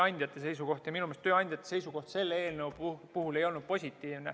Ja minu meelest tööandjate seisukoht selle eelnõu puhul ei olnud positiivne.